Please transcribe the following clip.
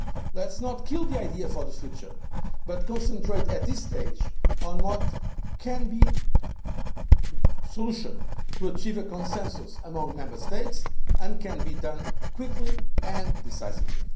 action. Let us not kill the idea for the future, but concentrate at this stage on what can be the solution to achieve a consensus among Member States and can be done quickly and decisively.